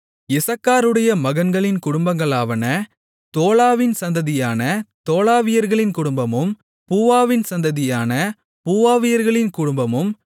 இசக்காருடைய மகன்களின் குடும்பங்களாவன தோலாவின் சந்ததியான தோலாவியர்களின் குடும்பமும் பூவாவின் சந்ததியான பூவாவியர்களின் குடும்பமும்